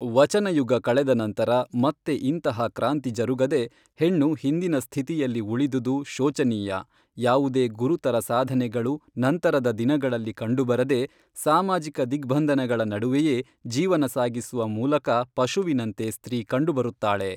ವಚನಯುಗ ಕಳೆದ ನಂತರ ಮತ್ತೆ ಇಂತಹ ಕ್ರಾಂತಿ ಜರುಗದೆ ಹೆಣ್ಣು ಹಿಂದಿನ ಸ್ಥಿತಿಯಲ್ಲಿ ಉಳಿದುದು ಶೋಚನೀಯ ಯಾವುದೇ ಗುರುತರ ಸಾಧನೆಗಳು ನಂತರದ ದಿನಗಳಲ್ಲಿ ಕಂಡುಬರದೆ ಸಾಮಾಜಿಕ ದಿಗ್ಬಂಧನಗಳ ನಡುವೆಯೆ ಜೀವನ ಸಾಗಿಸುವ ಮೂಲಕ ಪಶುವಿನಂತೆ ಸ್ತ್ರೀ ಕಂಡು ಬರುತ್ತಾಳೆ.